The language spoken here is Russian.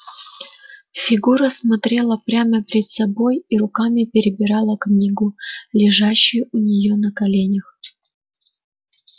фигура смотрела прямо перед собой и руками перебирала книгу лежащую у нее на коленях